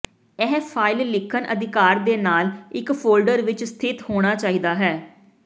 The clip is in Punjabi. ਇਹ ਫਾਇਲ ਲਿਖਣ ਅਧਿਕਾਰ ਦੇ ਨਾਲ ਇੱਕ ਫੋਲਡਰ ਵਿੱਚ ਸਥਿਤ ਹੋਣਾ ਚਾਹੀਦਾ ਹੈ